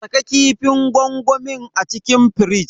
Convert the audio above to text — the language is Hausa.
Saka kifin gwangwamin a cikin firij.